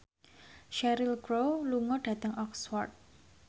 Cheryl Crow lunga dhateng Oxford